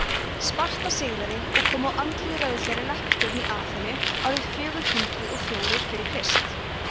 sparta sigraði og kom á andlýðræðislegri leppstjórn í aþenu árið fjögur hundruð og fjórir fyrir krist